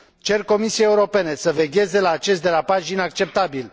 Cer Comisiei Europene să vegheze la acest derapaj inacceptabil.